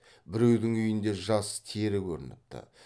біреудің үйінде жас тері көрініпті